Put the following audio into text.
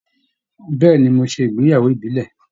Bẹ̀ẹ́ni, mo ṣe ìgbéyàwó ìbílẹ̀.